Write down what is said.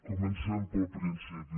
comencem pel principi